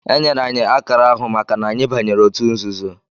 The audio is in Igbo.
Enyere anyị akara ahụ maka na anyị banyere otu nzuzo